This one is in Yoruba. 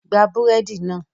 Gba búrẹ́dì náà